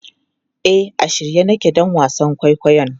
E, a shirye nake don wasan kwaikwayon.